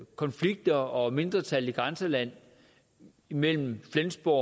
konflikter og mindretal i grænselandet mellem flensborg